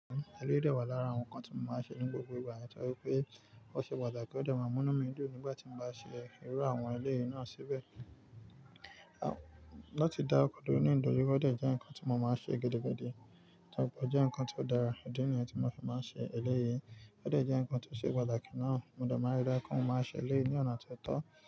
Eléyìí dà wá lára àwọn ǹkan tí mo máa ń ṣe ní gbogbo ìgbà, torí pé ó ṣe pàtàkì pé ó dà maá múnú mi dùn nígbà tí mo bá ṣe irú àwọn eléyìí náà síbẹ̀. Lóòtọ́ da, ọ̀kọ̀dọ̀ orí òǹdàjì ó dà jẹ́ ǹkan tí mo máa ń ṣe gidibkkèedé, tàbí jẹ́ ǹkan tó dára ó di ǹkan tí mo fi máa ń ṣe eléyìí, ó dà jẹ́ ǹkan tí ó ṣe pàtàkì ná. Mo de máa n ri lára pe mo m n máa ṣe eléyìí ní ọ̀nà tó tọ́.